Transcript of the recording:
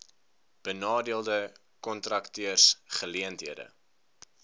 benadeelde kontrakteurs geleenthede